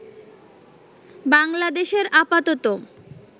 বাংলাদেশের আপাতত